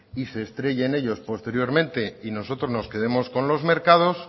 y se estrellen ellos posteriormente y nosotros nos quedemos con los mercados